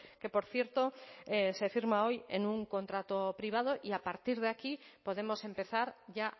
que por cierto se firma hoy en un contrato privado y a partir de aquí podemos empezar ya